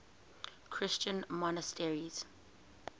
christian monasteries